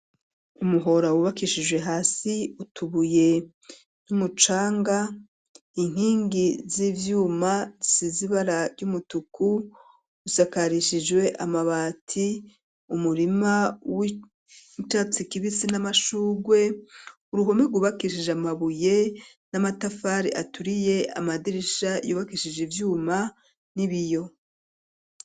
Umuhora wubakishije hasi utubuye, n'umucanga ,inkingi z'ivyuma zisizibara ry'umutuku ,usakarishijwe amabati, umurima w'icatsi kibisi n'amashugwe, uruhome gubakishije amabuye n'amatafari aturiye ,amadirisha yubakishije ivyuma n'ibiyo.